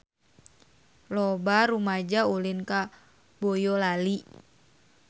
Loba rumaja ulin ka Boyolali